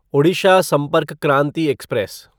Odisha Sampark Kranti express